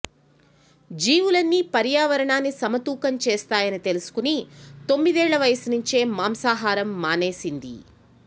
జీవులన్నీ పర్యావరణాన్ని సమతూకం చేస్తాయని తెలుసుకుని తొమ్మిదేళ్ల వయసు నుంచే మాంసాహారం మానేసింది